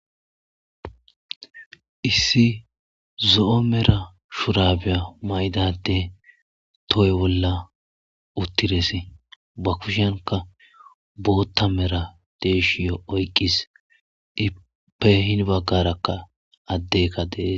issi zo'o mera shurabeya mayda adey toho bolla uttirese ba kushenka bootta mera deeshiyo oyqis ipe hin baggarakka addeyikka de'es